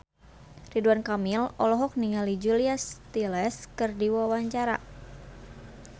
Ridwan Kamil olohok ningali Julia Stiles keur diwawancara